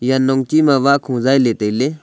eya nongchi ma wahkho zailey tailey.